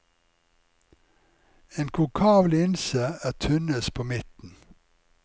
En konkav linse er tynnest på midten.